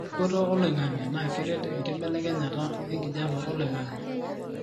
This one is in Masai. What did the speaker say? eripoto oloingangi na keret enkibelekenya enkijape oloingangi